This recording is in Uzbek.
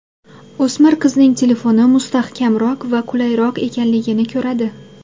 O‘smir qizning telefoni mustahkamroq va qulayroq ekanligini ko‘radi.